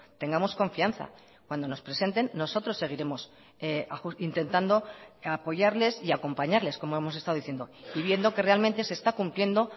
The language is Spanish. tengamos confianza cuando nos presenten nosotros seguiremos intentando apoyarles y acompañarles como hemos estado diciendo y viendo que realmente se está cumpliendo